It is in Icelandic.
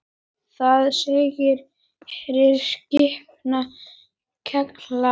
Þar segir: Heyr, spekin kallar.